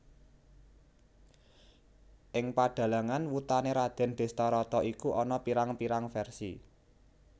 Ing padhalangan wutané Radèn Dhestharata iku ana pirang pirang versi